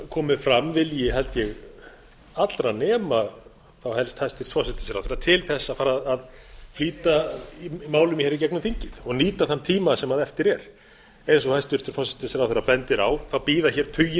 komið fram vilji held ég allra nema þá helst hæstvirtur forsætisráðherra til þess að fara að flýta málum hér í gegnum þingið og nýta þann tíma sem eftir er eins og hæstvirtur forsætisráðherra bendir á bíða hér tugir